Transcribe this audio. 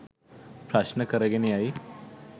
ප්‍රශ්න කරගෙන යයි.